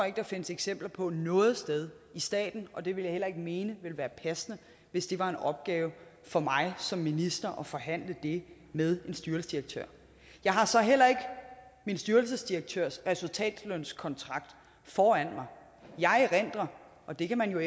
ikke der findes eksempler på noget sted i staten og det vil jeg heller ikke mene ville være passende hvis det var en opgave for mig som minister at forhandle det med en styrelsesdirektør jeg har så heller ikke min styrelsesdirektørs resultatlønskontrakt foran mig jeg erindrer og det kan man jo